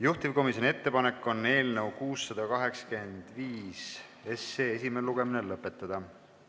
Juhtivkomisjoni ettepanek on eelnõu 685 esimene lugemine lõpetada.